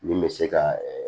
Min bɛ se ka